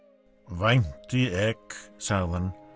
vænti ek sagði hann